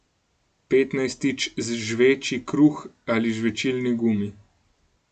Petnajstič, žveči kruh ali žvečilni gumi.